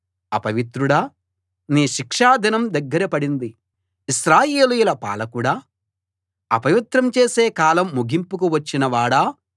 అపవిత్రుడా నీ శిక్షా దినం దగ్గర పడింది ఇశ్రాయేలీయుల పాలకుడా అపవిత్రం చేసే కాలం ముగింపుకు వచ్చిన వాడా